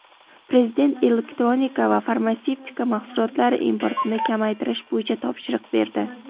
Prezident elektronika va farmatsevtika mahsulotlari importini kamaytirish bo‘yicha topshiriq berdi.